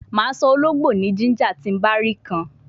Ma so ologbo ni ginger ti ba ti ra kan